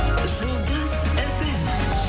жұлдыз фм